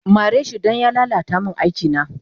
Mareshi dan ya lala ta min aikina